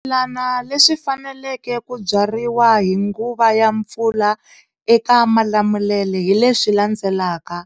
Swimilana leswi faneleke ku byariwa hi nguva ya mpfula eka Malamulele hi leswi landzelaka,